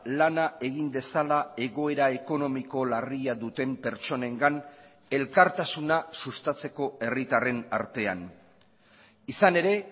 lana egin dezala egoera ekonomiko larria duten pertsonengan elkartasuna sustatzeko herritarren artean izan ere